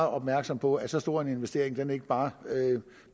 opmærksomme på at så stor en investering ikke bare